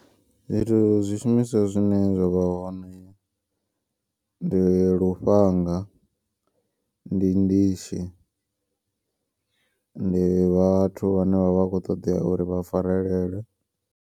Zwithu zwishumiswa zwine zwa vha hone. Ndi lufhanga, ndi ndishi, ndi vhathu vhane vha vha kho ṱoḓea uri vha farelele.